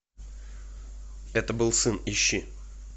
это был сын ищи